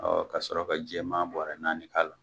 ka sɔrɔ ka jɛman bɔrɛ naani k'a la.